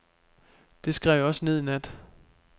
Det skrev jeg også ned i nat.